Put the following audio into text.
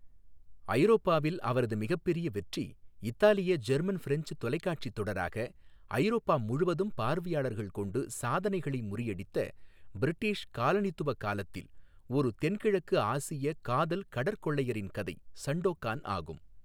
ஐரோப்பாவில் அவரது மிகப்பெரிய வெற்றி இத்தாலிய ஜெர்மன் ஃபிரெஞ்ச் தொலைக்காட்சி தொடராக ஐரோப்பா முழுவதும் பார்வையாளர்கள் கொண்டு சாதனைகளை முறியடித்த, பிரிட்டிஷ் காலனித்துவ காலத்தில் ஒரு தென்கிழக்கு ஆசிய காதல் கடற்கொள்ளையரின் கதை, சண்டோகான் ஆகும்.